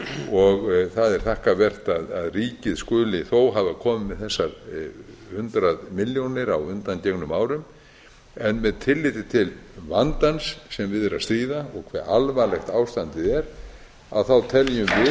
og það er þakkarvert að ríkið skuli þó hafa komið með þessar hundrað milljónir á undangengnum árum með tilliti til vandans sem við er að stríða og hve alvarlegt ástandið er teljum við í